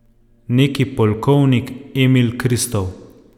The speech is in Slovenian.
Neki polkovnik Emil Kristov.